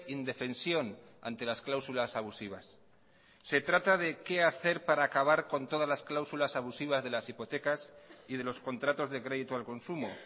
indefensión ante las cláusulas abusivas se trata de qué hacer para acabar con todas las cláusulas abusivas de las hipotecas y de los contratos de crédito al consumo